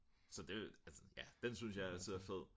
så det altså ja den synes jeg altså er fed